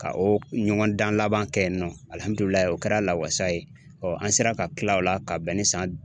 Ka o , u kun be ɲɔgɔndan laban kɛ yen nɔ. o kɛra lawasa ye ,ɔn an sela ka tila o la ka bɛn ni san